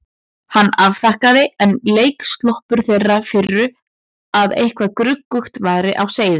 Hann afþakkaði, enn leiksoppur þeirrar firru að eitthvað gruggugt væri á seyði.